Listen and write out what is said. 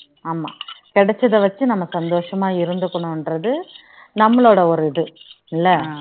கிடைச்சத வச்சி நம்ம சந்தோஷமா இருந்துக்கணும் என்றது நம்மளோட ஒரு இது இல்ல